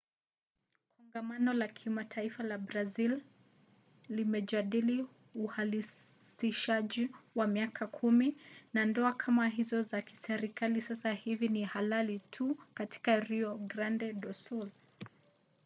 kongamano la kitaifa la brazili limejadili uhalalishaji kwa miaka 10 na ndoa kama hizo za kiserikali sasa hivi ni halali tu katika rio grande do sul